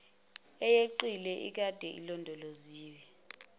eyeqile ekade ilondoloziwe